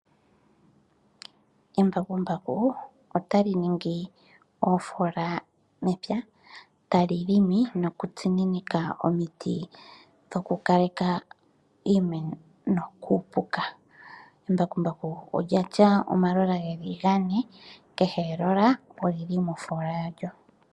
Embakumbaku otali ningi uufola mepya, tali limit nokutsuninika omiti dhokukaleka iimeno kuupuka. Embakumbaku olya tya omalola ge li Gane. Kehe elola oli li mofola yalyo.